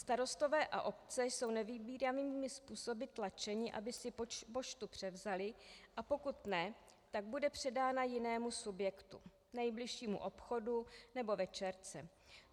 Starostové a obce jsou nevybíravými způsoby tlačeni, aby si poštu převzali, a pokud ne, tak bude předána jinému subjektu: nejbližšímu obchodu nebo večerce.